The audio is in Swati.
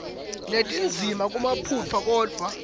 netindzima kunemaphutsa kodvwa